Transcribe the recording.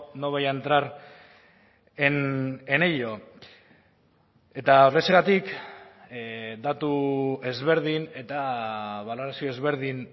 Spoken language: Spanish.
no voy a entrar en ello eta horrexegatik datu ezberdin eta balorazio ezberdin